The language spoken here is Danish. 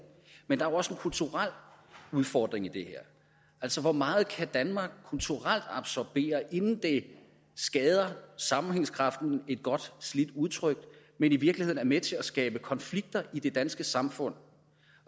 men også en kulturel udfordring i det her altså hvor meget kan danmark kulturelt absorbere inden det skader sammenhængskraften et godt slidt udtryk og i virkeligheden er med til at skabe konflikter i det danske samfund